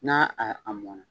N'a a mɔn na.